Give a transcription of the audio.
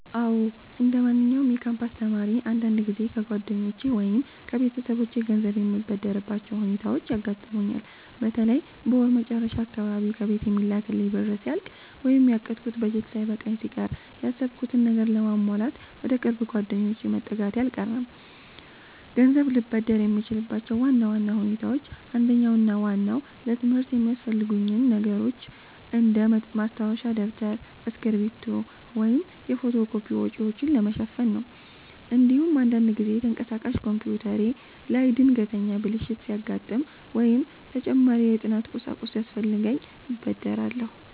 አዎ፣ እንደማንኛውም የካምፓስ ተማሪ አንዳንድ ጊዜ ከጓደኞቼ ወይም ከቤተሰቦቼ ገንዘብ የምበደርባቸው ሁኔታዎች ያጋጥሙኛል። በተለይ በወር መጨረሻ አካባቢ ከቤት የሚላክልኝ ብር ሲያልቅ ወይም ያቀድኩት በጀት ሳይበቃኝ ሲቀር፣ ያሰብኩትን ነገር ለማሟላት ወደ ቅርብ ጓደኞቼ መጠጋቴ አልቀረም። ገንዘብ ልበደር የምችልባቸው ዋና ዋና ሁኔታዎች አንደኛውና ዋናው ለትምህርት የሚያስፈልጉኝን ነገሮች እንደ ማስተንፈሻ ደብተር፣ እስክሪብቶ ወይም የፎቶ ኮፒ ወጪዎችን ለመሸፈን ነው። እንዲሁም አንዳንድ ጊዜ ተንቀሳቃሽ ኮምፒውተሬ ላይ ድንገተኛ ብልሽት ሲያጋጥም ወይም ተጨማሪ የጥናት ቁሳቁስ ሲያስፈልገኝ እበደራለሁ።